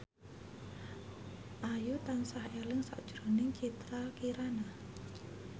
Ayu tansah eling sakjroning Citra Kirana